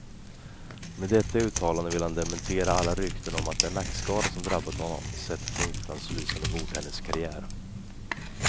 Med detta uttalande vill han dementera alla rykten om att den nackskada som drabbat honom sätter punkt för hans lysande bordtenniskarriär.